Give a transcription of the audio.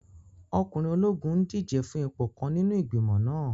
Ọkùnrin ológun n díje fún ipò kan nínú igbimọ̀ náà